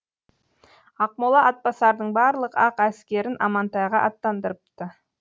ақмола атбасардың барлық ақ әскерін амантайға аттандырыпты